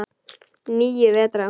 Níu vetra.